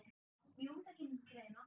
Jú, það kemur til greina.